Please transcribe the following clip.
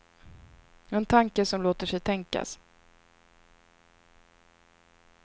En tanke som låter sig tänkas.